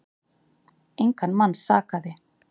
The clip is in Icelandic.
Engan mann sakaði.